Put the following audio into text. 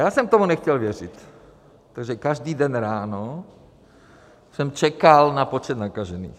Já jsem tomu nechtěl věřit, takže každý den ráno jsem čekal na počet nakažených.